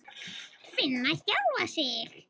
Finna sjálfa sig.